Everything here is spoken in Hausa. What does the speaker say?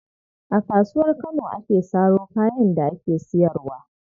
A Kasuwar Kano ake saro kayan da ake siyarwa.